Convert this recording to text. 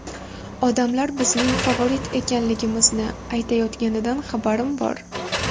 Odamlar bizning favorit ekanligimizni aytayotganidan xabarim bor.